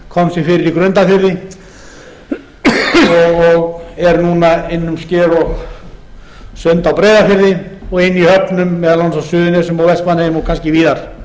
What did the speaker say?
síldarstofninn komst fyrir í grundarfirði og er núna inn um sker og sumt á breiðafirði og inni í höfnum meðal annars á suðurnesjum og vestmannaeyjum og kannski víðar